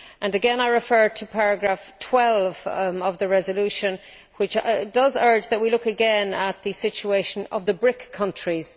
Here I refer to paragraph 12 of the resolution, which urges us to look again at the situation of the BRIC countries.